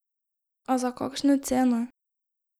A za kakšno ceno?